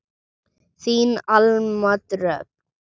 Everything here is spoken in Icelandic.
Þín Alma Dröfn.